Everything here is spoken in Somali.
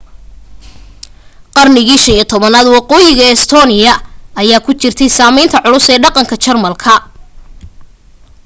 qarniga 15aad waqooyiga estonia ayaa ku jirtay saamaynta culus ee dhaqanka jermanka